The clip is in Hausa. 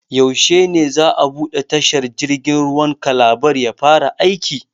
Yaushe ne za a buɗe tashar jirgin ruwan Calabar ya fara aiki?